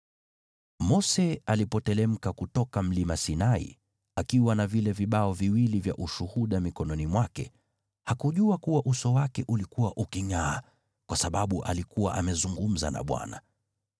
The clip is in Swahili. Mose alipoteremka kutoka Mlima Sinai akiwa na vile vibao viwili vya Ushuhuda mikononi mwake, hakujua kuwa uso wake ulikuwa ukingʼaa, kwa sababu alikuwa amezungumza na Bwana .